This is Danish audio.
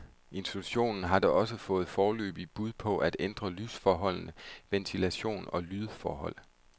Institutionen har da også fået foreløbige bud på at ændre lysforholdene, ventilation og lydforhold.